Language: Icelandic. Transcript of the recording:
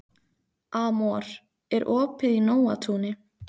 Amor, er opið í Nóatúni?